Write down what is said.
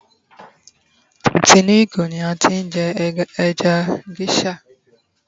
a ti inù ìgò ni a ti n je eja geisha